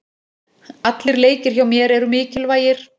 Allir leikir hjá mér eru mikilvægir.